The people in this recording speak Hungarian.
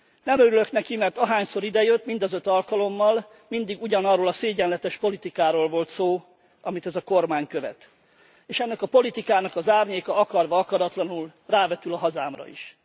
Nem örülök neki, mert ahányszor idejött, mind az öt alkalommal, mindig ugyanarról a szégyenletes politikáról volt szó, amit ez a kormány követ, és ennek a politikának az árnyéka akarva akaratlanul rávetül a hazámra is.